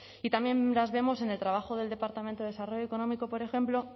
y también las vemos en el trabajo del departamento de desarrollo económico por ejemplo